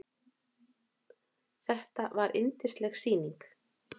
Þetta var yndisleg sýning.